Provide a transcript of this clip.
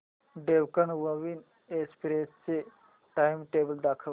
Deccan Queen Express चे timetable दाखव